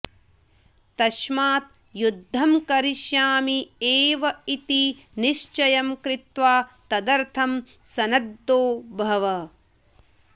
तस्मात् युद्धं करिष्यामि एव इति निश्चयं कृत्वा तदर्थं सन्नद्धो भव